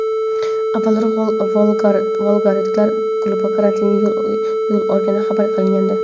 Avvalroq volgogradliklar klubi karantinga yo‘l olgani xabar qilingandi.